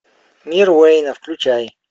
мир уэйна включай